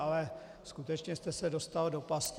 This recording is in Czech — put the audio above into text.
Ale skutečně jste se dostal do pasti.